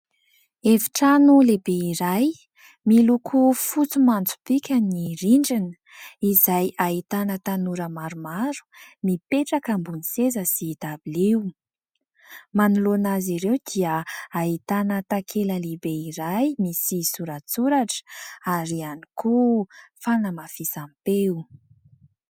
Efitrano lehibe iray miloko fotsy manjopiaka ny rindrina, izay ahitana tanora maromaro mipetraka ambony seza sy dabilio. Manoloana azy ireo dia ahitana takela lehibe iray misy soratsoratra ary ihany koa fanamafisam-peo.